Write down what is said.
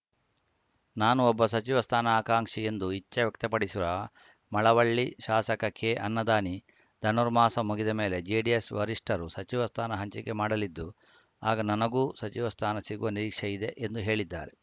ನಾನು ಒಬ್ಬ ಸಚಿವ ಸ್ಥಾನ ಆಕಾಂಕ್ಷಿ ಎಂದು ಇಚ್ಛೆ ವ್ಯಕ್ತಪಡಿಸಿರುವ ಮಳ್ಳವಳ್ಳಿ ಶಾಸಕ ಕೆಅನ್ನದಾನಿ ಧನುರ್ಮಾಸ ಮುಗಿದ ಮೇಲೆ ಜೆಡಿಎಸ್‌ ವರಿಷ್ಠರು ಸಚಿವ ಸ್ಥಾನ ಹಂಚಿಕೆ ಮಾಡಲಿದ್ದು ಆಗ ನನಗೂ ಸಚಿವ ಸ್ಥಾನ ಸಿಗುವ ನಿರೀಕ್ಷೆ ಇದೆ ಎಂದು ಹೇಳಿದ್ದಾರೆ